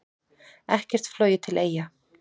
Ekkert flogið til Eyja